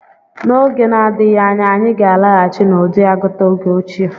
N'oge na-adịghị anya, anyị ga-alaghachi n'ụdị agụta oge ochie.